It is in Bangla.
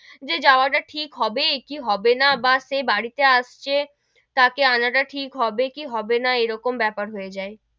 যে যাওয়া টা ঠিক হবে কি হবে না, বা সে বাড়ি তে আসছে তাকে আনা টা ঠিক হবে, কি হবে না, এরকম বেপার হয়ে যাই,